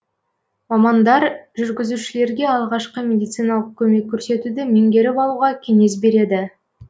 мамандар жүргізушілерге алғашқы медициналық көмек көрсетуді меңгеріп алуға кеңес береді